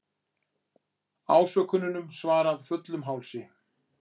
Ásökunum svarað fullum hálsi